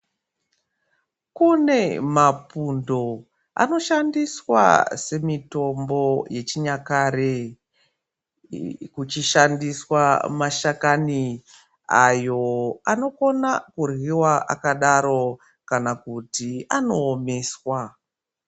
Kune mapundo anoshandiswa semitombo yechinyakare kwechishandiswa mashakani ayo anokona kuryiwa akadaro kana kuti anoomeswa.